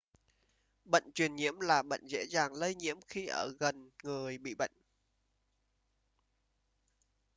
bệnh truyền nhiễm là bệnh dễ dàng lây nhiễm khi ở gần người bị bệnh